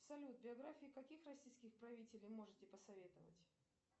салют биографии каких российских правителей можете посоветовать